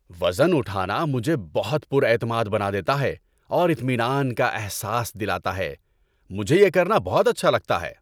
وزن اٹھانا مجھے بہت پُر اعتماد بنا دیتا ہے اور اطمینان کا احساس دلاتا ہے۔ مجھے یہ کرنا بہت اچھا لگتا ہے۔